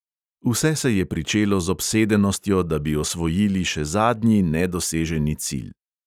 Vse se je pričelo z obsedenostjo, da bi osvojili še zadnji nedoseženi cilj.